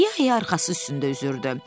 İya-iya arxası üstündə üzürdü.